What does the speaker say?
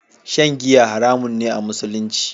Shan giya haramun ne a Musulumci.